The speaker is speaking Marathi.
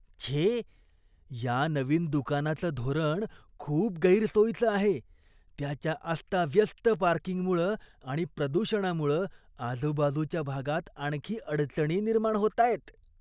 छे! या नवीन दुकानाचं धोरण खूप गैरसोयीचं आहे. त्याच्या अस्ताव्यस्त पार्किंगमुळं आणि प्रदूषणामुळं आजूबाजूच्या भागात आणखी अडचणी निर्माण होतायत.